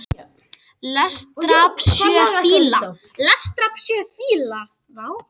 Lest drap sjö fíla